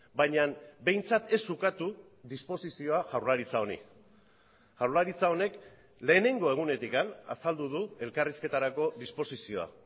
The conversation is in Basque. baina behintzat ez ukatu disposizioa jaurlaritza honi jaurlaritza honek lehenengo egunetik azaldu du elkarrizketarako disposizioa